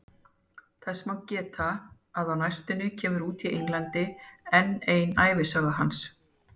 Þess má geta að á næstunni kemur út í Englandi enn ein ævisaga hans.